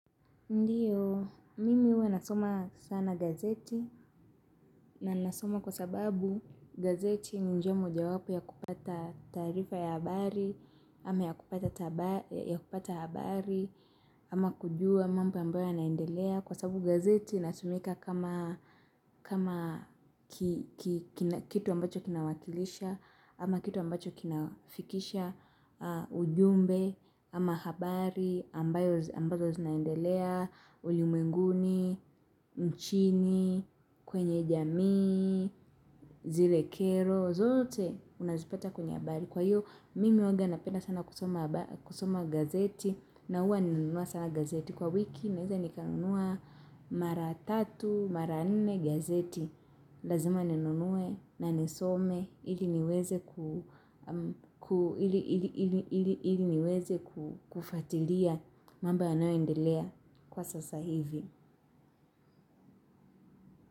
Ndiyo, mimi huwa nasoma sana gazeti na nasoma kwa sababu gazeti ni njia moja wapo ya kupata taarifa ya habari, ama ya kupata habari, ama kujua mambo ambayo ya naendelea. Kwa sababu gazeti inatumika kama kitu ambacho kinawakilisha. Ama kitu ambacho kinafikisha ujumbe ama habari ambazo zinaendelea ulimwenguni, nchini, kwenye jamii, zile kero zote unazipata kwenye habari. Kwa hiyo mimi huwanga napenda sana kusoma gazeti. Na huwa ninanunua sana gazeti kwa wiki. Naweza nikanunua mara tatu, mara nne gazeti, lazima ninunue na nisome ili niweze kufuatilia mambo yanayoendelea kwa sasa hivi.